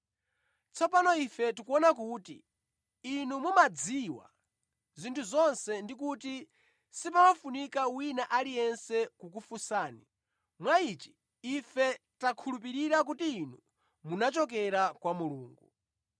Tsopano ife tikuona kuti Inu mumadziwa zinthu zonse ndi kuti sipafunika wina aliyense kukufunsani. Mwa ichi ife takhulupirira kuti Inu munachokera kwa Mulungu.”